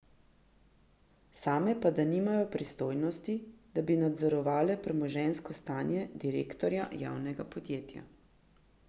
Same pa da nimajo pristojnosti, da bi nadzorovale premoženjsko stanje direktorja javnega podjetja.